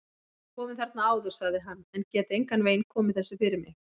Ég hef komið þarna áður sagði hann, en get engan veginn komið þessu fyrir mig